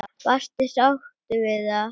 Varstu sáttur við það?